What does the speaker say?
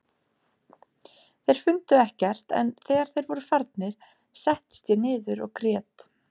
Þeir fundu ekkert en þegar þeir voru farnir settist ég niður og grét.